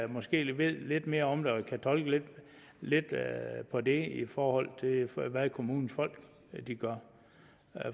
måske ved lidt mere om det og kan tolke lidt på det i forhold til hvad kommunens folk gør